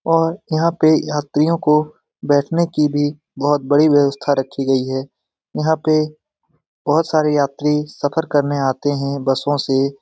और यहाँ पे यात्रियों को बैठने की भी बहुत बड़ी व्यवस्था रखी गयी है। यहाँ पे बहुत सारे यात्री सफर करने आते हैं बसों से।